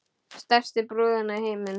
Stærstu brúðuna í bænum.